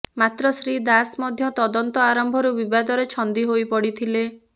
ମାତ୍ର ଶ୍ରୀ ଦାସ ମଧ୍ୟ ତଦନ୍ତ ଆରମ୍ଭରୁ ବିବାଦରେ ଛନ୍ଦି ହୋଇପଡ଼ିଥିଲେ